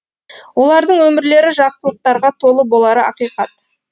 олардың өмірлері жақсылықтарға толы болары ақиқат